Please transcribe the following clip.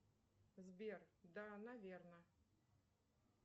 сбер да наверно